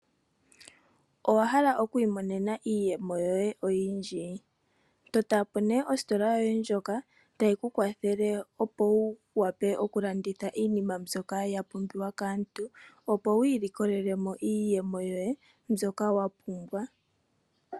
Owa hala okwiimonena iiyemo yoye oyindji totapo ne ositola yoye ndjoka tayi ku kwathele opo wu wape okulanditha iinima mbyoka ya pumbiwa kaantu opo wiilikolelemo iiyemo yoye mbyoka wa pumbwa.